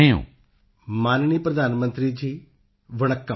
ਪੋਨ ਮਰਿਯੱਪਨ ਮਾਣਯੋਗ ਪ੍ਰਧਾਨ ਮੰਤਰੀ ਜੀ ਵਣੱਕਮ ਨਮਸਕਾਰ